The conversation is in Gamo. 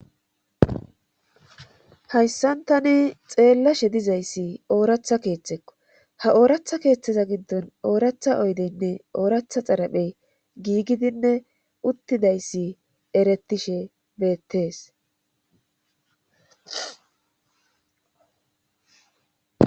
Hayssantani xeellashe dizayssi ooratha keeththekko ha ooratha keeththeza giddon ooratha oydeynne ooratha xaraphey giigidinne uttidayssi erettishe beettees.